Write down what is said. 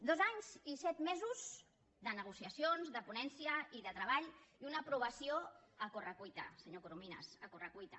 dos anys i set mesos de negociacions de ponència i de treball i una aprovació a corre cuita senyor corominas a corre cuita